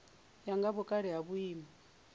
ya nga vhukale na vhuimo